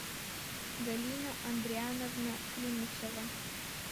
галина андриановна климусова